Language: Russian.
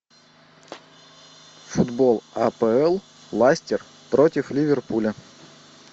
футбол апл лестер против ливерпуля